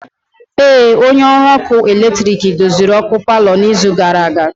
Ee, onye ọrụ ọkụ eletrik doziri ọkụ palọ n'izu gara aga.